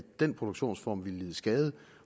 den produktionsform ville lide skade